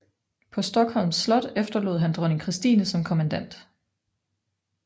På Stockholms Slot efterlod han dronning Christine som kommandant